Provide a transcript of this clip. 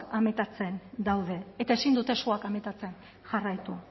amatatzen daude eta ezin suak amatatzen jarraitu